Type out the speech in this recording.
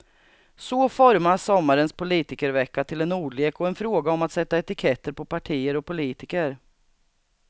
Så formas sommarens politikervecka till en ordlek och en fråga om att sätta etiketter på partier och politiker.